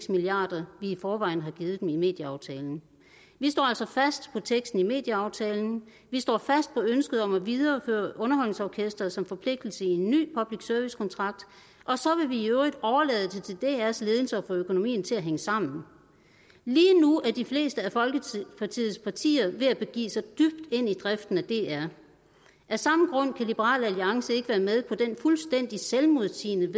milliard kr vi i forvejen har givet dem i medieaftalen vi står altså fast på teksten i medieaftalen vi står fast på ønsket om at videreføre underholdningsorkestret som forpligtelse i en ny public service kontrakt og så vil vi i øvrigt overlade det til drs ledelse at få økonomien til at hænge sammen lige nu er de fleste af folketingets partier ved at begive sig dybt ind i driften af dr af samme grund kan liberal alliance ikke være med på det fuldstændig selvmodsigende